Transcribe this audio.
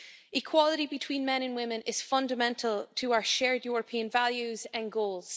Equality between men and women is fundamental to our shared European values and goals.